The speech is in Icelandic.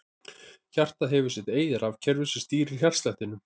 Hjartað hefur sitt eigið rafkerfi sem stýrir hjartslættinum.